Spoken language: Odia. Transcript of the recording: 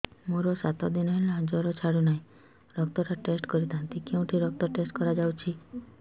ମୋରୋ ସାତ ଦିନ ହେଲା ଜ୍ଵର ଛାଡୁନାହିଁ ରକ୍ତ ଟା ଟେଷ୍ଟ କରିଥାନ୍ତି କେଉଁଠି ରକ୍ତ ଟେଷ୍ଟ କରା ଯାଉଛି